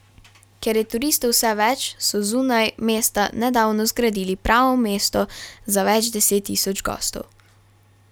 Ker je turistov vse več, so zunaj mesta nedavno zgradili pravo mesto za več deset tisoč gostov.